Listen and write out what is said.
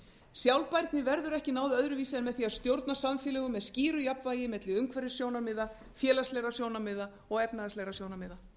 sjálfbærni verður ekki náð öðruvísi en með því að stjórna samfélögum með skýru jafnvægi milli umhverfissjónarmiða félagslegra sjónarmiða og efnahagslegra sjónarmiða